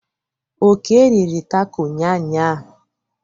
Oke riri tako ụnyanya.